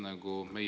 Teie aeg!